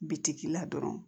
Bitigi la dɔrɔn